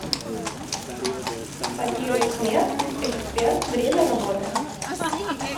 папирусмед эксперт время работы